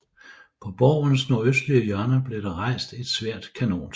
På borgens nordøstlige hjørne blev der rejst et svært kanontårn